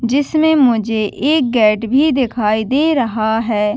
जिसमे मुझे एक गेट भी दिखाई दे रहा है।